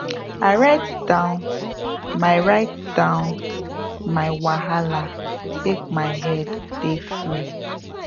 i write down my write down my wahala make my head dey free